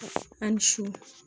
A ni su